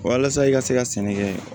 Walasa i ka se ka sɛnɛ kɛ